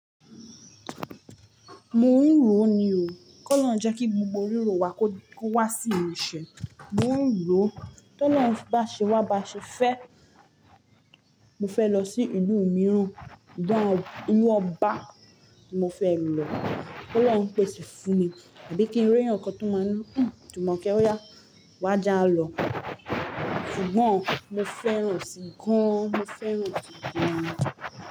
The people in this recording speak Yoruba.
Mo n ro ni o. K'olọhun jẹ ki gbogbo riro wa ko wa si imuse. Mo n ro. T'ọlọhun ba ṣe wa ba ṣe fe, mo fe lọ si ilu miiran. Gan o ilu ọba ni mo fe ri lọ. K'olọhun n pese fun mi, tabi ki n ri ẹeyan kan to ma ni. Jumoke oya, wa jaa lọ. Sugbon mo feran ọ si gan. Mo feran ọ si gan.